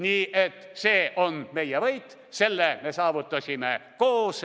Nii et see on meie võit, selle me saavutasime koos.